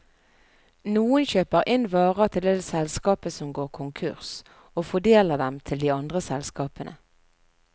Noen kjøper inn varer til det selskapet som går konkurs, og fordeler dem til de andre selskapene.